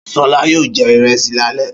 Ṣọlá yóò jẹ ìrẹsì lálẹ́.